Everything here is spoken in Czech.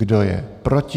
Kdo je proti?